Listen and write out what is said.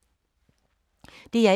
DR1